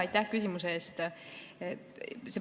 Aitäh küsimuse eest!